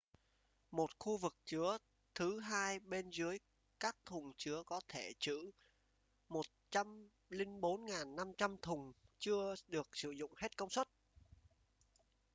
một khu vực chứa thứ hai bên dưới các thùng chứa có thể trữ 104.500 thùng chưa được sử dụng hết công suất